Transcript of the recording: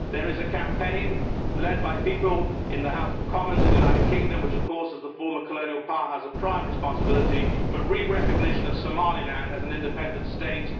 There is a campaign led by people in the House of Commons in the United Kingdom, which of course as the former colonial power has a prime responsibility, for re recognition of Somaliland as an independent state.